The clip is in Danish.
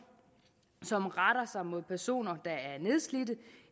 som retter sig mod personer der er nedslidte